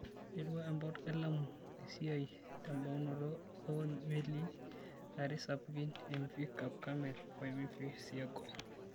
Eiterua empot e Lamu esiai tebaunoto oo melii are sapukin - Mv Cap Carmel o Mv Seago